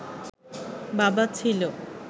বাবা ছিল